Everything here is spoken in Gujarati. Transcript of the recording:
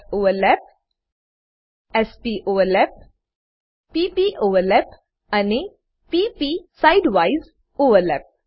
s s overlap s p overlap p p overlap અને p પ side વાઇઝ ઓવરલેપ